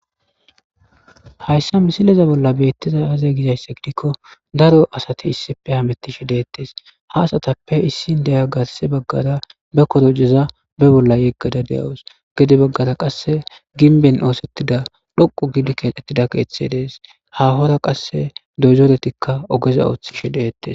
Hayssa misileza bolla beettiza aze gizaysse gidikko daro asati issipe hamettishi deettes. ha asatappe issin deya gasse baggara be korojeza be bolla yeggada deyawus. gede baggara qasse ginben oosettida dhoqu gidi keexettida keeththe dees.hahora qasse dozoretikka ogeza ooththishi deettes.